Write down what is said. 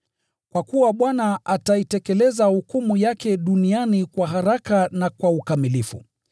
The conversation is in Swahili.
Kwa kuwa Bwana ataitekeleza hukumu yake duniani kwa haraka na kwa ukamilifu.”